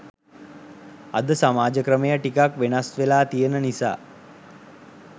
අද සමාජ ක්‍රමය ටිකක් වෙනස් වෙලා තියෙන නිසා